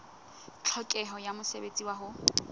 tlhokeho ya mosebetsi wa ho